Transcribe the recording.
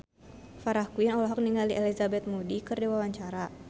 Farah Quinn olohok ningali Elizabeth Moody keur diwawancara